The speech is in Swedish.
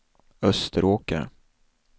Österåker